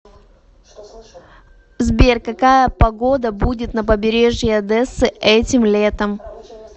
сбер какая погода будет на побережье одессы этим летом